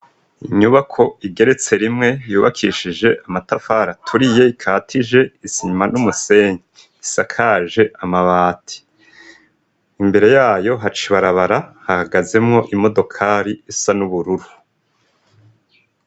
Inyubako igeretse rimwe, yubakishije amatafari aturiye, ikatije isima n'umusenyi; isakaje amabati, imbere yayo haca ibarabara, hahagazemwo imodokari isa n'ubururu.